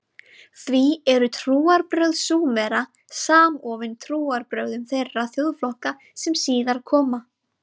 Því eru trúarbrögð Súmera samofin trúarbrögðum þeirra þjóðflokka sem síðar koma.